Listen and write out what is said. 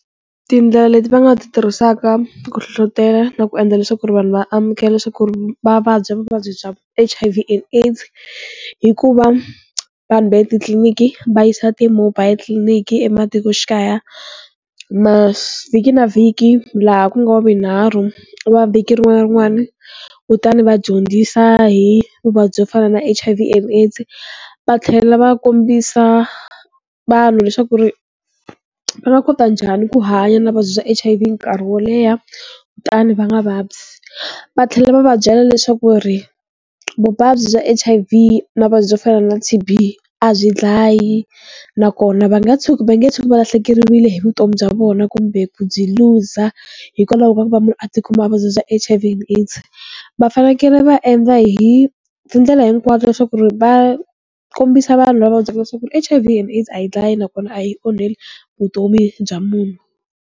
Tindlela leti va nga ti tirhisaka ku hlohlotela na ku endla leswaku ri vanhu va amukela leswaku ri va vabya vuvabyi bya H_I_V and AI_DS i ku va vanhu va etitliliniki va yisa ti-mobile clinic ematikoxikaya mavhiki na vhiki laha ku nga wavunharhu wa vhiki rin'wana na rin'wana, kutani va dyondzisa hi vuvabyi byo fana na H_I_V and AIDS va tlhela va kombisa vanhu leswaku ri va nga kota njhani ku hanya na vuvabyi bya H_I_V nkarhi wo leha kutani va nga vabyi, va tlhela va va byela leswaku ri vuvabyi bya H_I_V na vuvabyi byo fana na T_B a byi dlayi nakona va nga tshuki va nge tshuki valahlekeriwile hi vutomi bya vona kumbe ku byi looser hikwalaho ka ku va munhu a tikuma a vanha hi vuvabyi bya H_I_V and AIDS, va fanekele va endla hi tindlela hinkwato leswaku ri va kombisa vanhu lava vabyaka leswaku H_I_V and AIDS a yi dlayi nakona a yi onheli vutomi bya munhu.